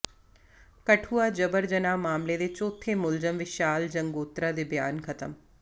ਕਠੂਆ ਜਬਰ ਜਨਾਹ ਮਾਮਲੇ ਦੇ ਚੌਥੇ ਮੁਲਜ਼ਮ ਵਿਸ਼ਾਲ ਜੰਗੋਤਰਾ ਦੇ ਬਿਆਨ ਖਤਮ